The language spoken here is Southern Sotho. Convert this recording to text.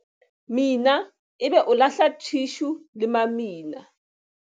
Mina ebe o lahla thishu le mamina.